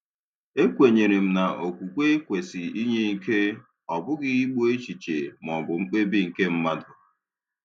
E kwenyere m na okwukwe kwesị inye ike, ọ bụghị igbu echiche maọbụ mkpebi nke mmadụ.